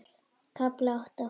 KAFLI ÁTTA